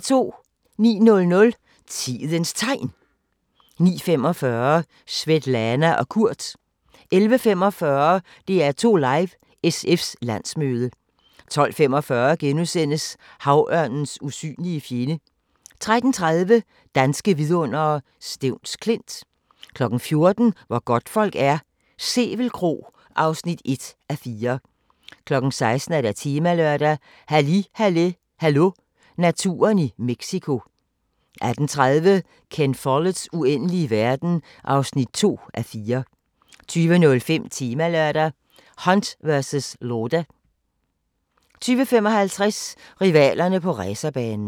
09:00: Tidens Tegn 09:45: Svetlana og Kurt 10:45: DR2 Live: SF's landsmøde 12:45: Havørnens usynlige fjende * 13:30: Danske vidundere: Stevns Klint 14:00: Hvor godtfolk er - Sevel Kro (1:4) 16:00: Temalørdag: Halli Halli Hallo – naturen i Mexico 18:30: Ken Folletts Uendelige verden (2:4) 20:05: Temalørdag: Hunt versus Lauda 20:55: Rivalerne på racerbanen